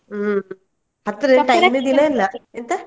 ಹ್ಮ್ ಹತ್ರಾ ದಿನ ಇಲ್ಲಾ, ಎಂತ?